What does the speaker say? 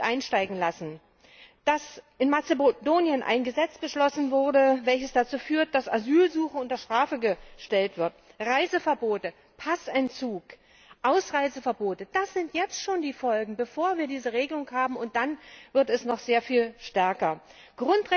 einsteigen lassen, dass in Mazedonien ein Gesetz beschlossen wurde, welches dazu führt, dass Asylsuche unter Strafe gestellt wird. Reiseverbote, Passentzug und Ausreiseverbote, das sind jetzt schon die Folgen, bevor wir diese Regelung haben, und danach wird es noch sehr viel schlimmer sein.